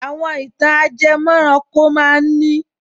Àwọn ìtàn ajẹmọ́ranko ma ń ní